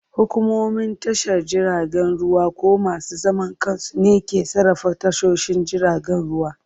Hukumomin tashar jiragen ruwa ko masu zaman kansu ne ke sarrafa tashoshin jiragen ruwa.